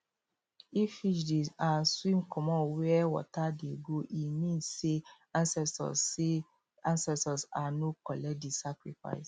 if fish dey um swim comot where water dey go e mean say ancestors mean say ancestors um no collect the sacrifice